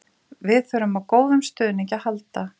Við þurfum á góðum stuðningi að halda.